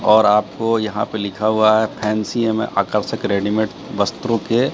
और आपको यहां पे लिखा हुआ है फैंसी आकर्षक रेडीमेड वस्त्रों के--